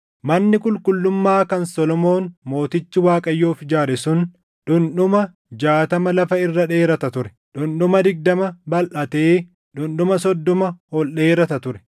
Manni qulqullummaa kan Solomoon mootichi Waaqayyoof ijaare sun dhundhuma jaatama lafa irra dheerata ture; dhundhuma digdama balʼatee dhundhuma soddoma ol dheerata ture.